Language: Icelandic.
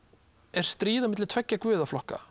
er stríð milli tveggja